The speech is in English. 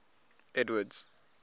edward's